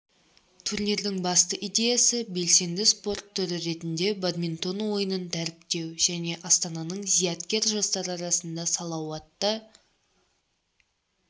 турнирдің басты идеясы белсенді спорт түрі ретінде бадминтон ойынын дәріптеу және астананың зияткер жастары арасында салауатты